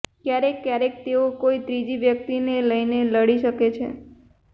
ક્યારેક ક્યારેક તેઓ કોઇ ત્રીજી વ્યક્તિને લઇને લડી શકે છે